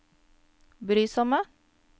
brysomme